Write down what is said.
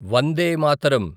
Vande Mataram